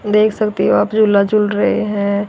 देख सकते हो आप झूला झूल रहे हैं।